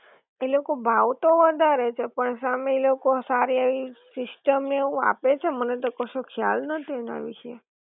એ લોકો ભાવ તો વધારે છે પણ સામે ઈ લોકો સારી એવી સિસ્ટમ ને એવું આપે છે? મને તો કશો ખ્યાલ નથી એના વિશે